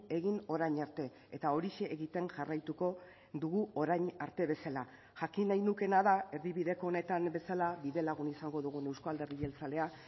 egin orain arte eta horixe egiten jarraituko dugu orain arte bezala jakin nahi nukeena da erdibideko honetan bezala bidelagun izango dugun euzko alderdi jeltzalea